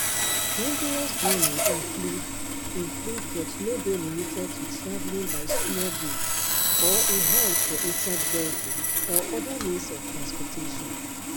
dangerous journey include include but no dey limited to travelling by small boat or e hide for inside vehicle or oda means of transportation